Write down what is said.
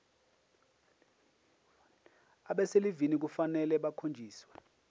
abaselivini kufanele bakhonjiswe